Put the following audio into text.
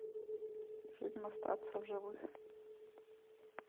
фильм остаться в живых